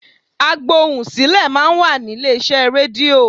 Agbohùnsílẹ̀ máa ń wà ní ilé iṣẹ́ rédíò.